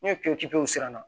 N'o pere pepere sisan